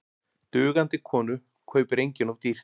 Dugandi konu kaupir enginn of dýrt.